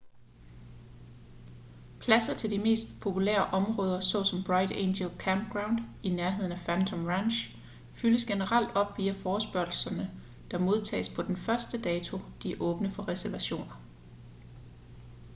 pladser til de mest populære områder såsom bright angel campground i nærheden af phantom ranch fyldes generelt op via forespørgslerne der modtages på den første dato de er åbne for reservationer